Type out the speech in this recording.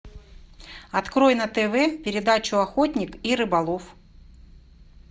открой на тв передачу охотник и рыболов